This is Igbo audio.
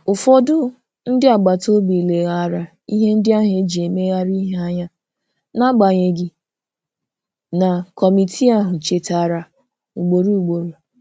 Ụfọdụ ndị agbata obi leghaara ihe ndị ahụ e ji emegharị ihe anya, n'agbanyeghị na kọmitii ahụ chetara ugboro ugboro.